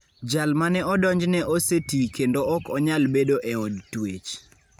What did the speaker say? Jal mane odonj ne osetii kendo ok onyal bedo e od twech.